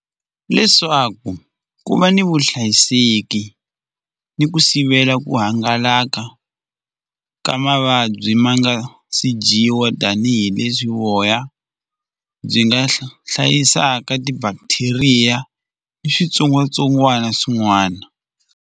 Leswaku ku va ni vuhlayiseki ni ku sivela ku hangalaka ka mavabyi ma nga si dyiwa tanihileswi voya byi nga hlayisaka ti-bacteria ni switsongwatsongwana swin'wana.